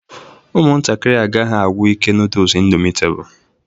Ụmụntakịrị agaghị agwụ ike noodles Indomitable